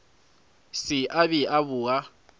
se a be a boa